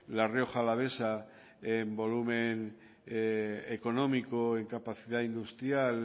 la rioja alavesa en volumen económico en capacidad industrial